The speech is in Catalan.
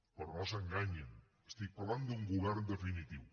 però no s’enganyin parlo d’un govern definitiu